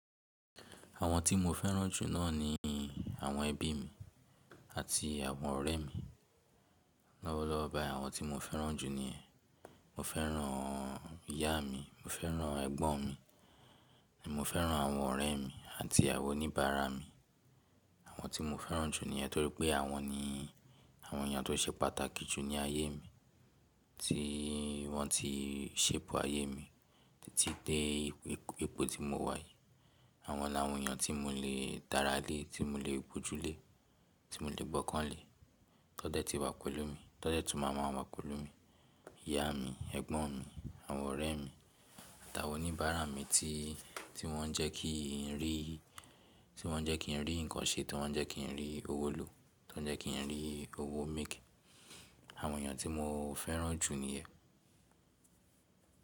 Àwọn tí mo fẹ́ràn jù náà ni àwọn ẹbí mi àti àwọn ọ̀rẹ́ mi. Lọ́wọ́lọ́wọ́ báyìí àwọn tí mo fẹ́ràn jù niyẹn. Mo fẹ́ràn ìyá mi, mo fẹ́ràn ẹ̀gbọ́n mi, mo fẹ́ràn àwọn ọ̀rẹ́ mi àti àwọn oníbàárà mi. Àwọn tí mo fẹ́ràn jù niyẹn torí pé àwọn ni àwọn èèyàn tó ṣe pàtàkì jù ní ayé mi, tí wọ́n ti sepu ayé mi títí dé ipò tí mo wà yìí. Àwọn làwọn èèyàn tí mo lè dára lé, tí mo lè gbó jù lé, tí mo lè gbọ́kàn lé, tó n dẹ́ ti wà kọ́lọ̀ mi, tó n dẹ́ tún máa maa wà pelu mi. Ìyá mi, ẹ̀gbọ́n mi, àwọn ọ̀rẹ́ mi àtàwọn oníbàárà mi tí, tí wọ́n ń jẹ́ kí n rí, tí wọ́n ń jẹ́ kí n rí nǹkan ṣe, tí wọ́n ń jẹ́ kí n rí owó lò, tí wọ́n ń jẹ́ kí n rí owó make. Àwọn èèyàn tí mo fẹ́ràn jù ni ẹ.